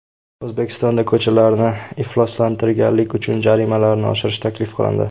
O‘zbekistonda ko‘chalarni ifloslantirganlik uchun jarimalarni oshirish taklif qilindi.